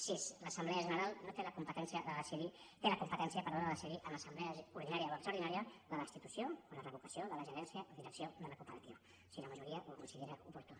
sis l’assemblea general té la competència de decidir en assemblea ordinària o extraordinària la destitució o la revocació de la gerència direcció de la cooperativa si la majoria ho considera oportú